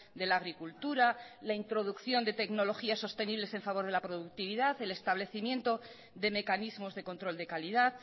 de la agricultura la introducción de tecnologías sostenibles en favor de la productividad el establecimiento de mecanismos de control de calidad